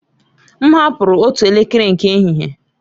M hapụrụ otu elekere nke ehihie.